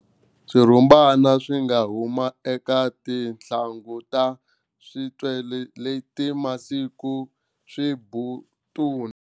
Swirhumbana swi nga huma eka tinhlangu ta switele leti masiku swimbutuna.